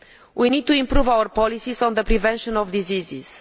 We need to improve our policies on the prevention of diseases.